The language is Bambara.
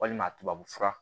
Walima tubabu fura